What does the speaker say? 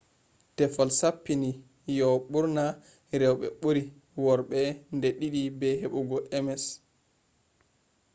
teffol sappini yo'o ɓurna rewɓe ɓuri worɓe nde ɗiɗi be heɓugo ms